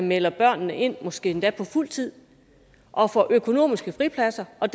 melder børnene ind måske endda på fuld tid og får økonomiske fripladser og